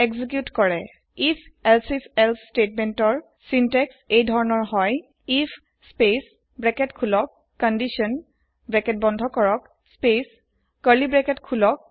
if elsif else স্তেতমেন্তৰ syntax এই ধৰণৰ হয় if space open bracket condition close bracket space open curly bracket press